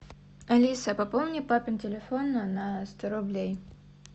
алиса пополни папин телефон на сто рублей